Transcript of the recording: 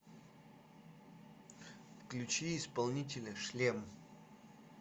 включи исполнителя шлем